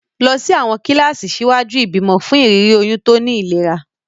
Lọ sí àwọn kíláàsì ṣíwájú ìbímọ fún ìrírí oyún tó ní ìlera.